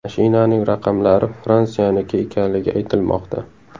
Mashinaning raqamlari Fransiyaniki ekanligi aytilmoqda.